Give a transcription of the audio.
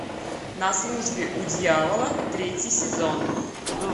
на службе у дьявола третий сезон